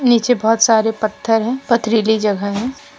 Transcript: नीचे बहोत सारे पत्थर हैं पथरीली जगह है।